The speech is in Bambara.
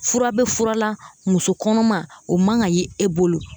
Fura bɛ fura la muso kɔnɔma o man ka ye e bolo